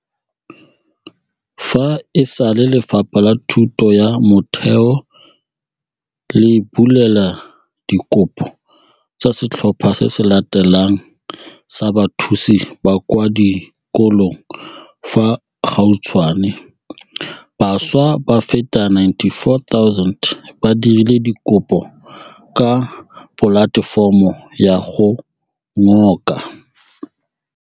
Fa e sale Lefapha la Thuto ya Motheo le bulela dikopo tsa setlhopha se se latelang sa bathusi ba kwa di kolong fa gautshwane, bašwa ba feta 94 000 ba dirile dikopo ka polatefomo ya go ngoka